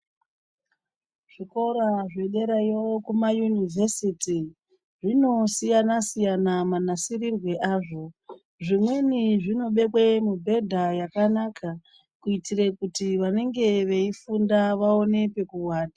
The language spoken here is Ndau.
Zvikora zvederayo Kuma university zvinosiyana siyana nasirirwe yazvo zvimwe zvinobekwe mibhedha yakanaka kuti vanenge veifunda vaine pekuwata.